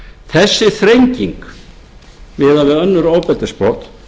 þessi þrenging miðað við önnur ofbeldisbrot